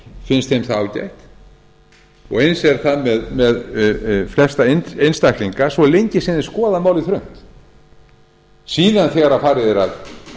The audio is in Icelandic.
finnst þeim það ágætt og eins er það með flesta essntaklinga svo lengi sem þeir skoða málið þröngt síðan þegar farið er að